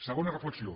segona reflexió